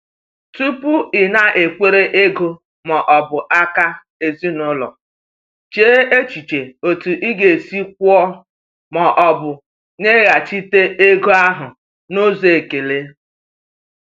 Tupu ịnakwere ego ma ọ bụ aka ezinụlọ, chee echiche otu ị ga-esi kwụọ ma ọ bụ weghachite ego ahụ n’ụzọ ekele.